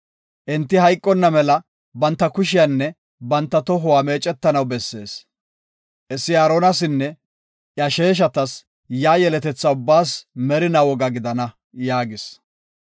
Enti hayqonna mela, banta kushiyanne banta tohuwa meecetanaw bessees. Hessi Aaronasinne iya sheeshatas, yaa yeletetha ubbaas merinaa woga gidana” yaagis.